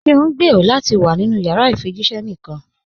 Ṣé o ǹgbẹ́rọ̀ lati wà nínu yàrà ifíjìṣẹ̀ níkan?